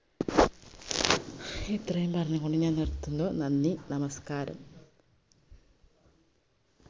ഇത്രയും പറഞ്ഞുകൊണ്ട് ഞാൻ നിർത്തുന്നു നന്ദി നമസ്ക്കാരം